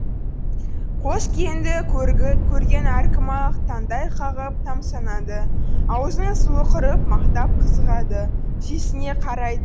қос келінді көрген әркім ақ таңдай қағып тамсанады аузының суы құрып мақтап қызығады сүйсіне қарайды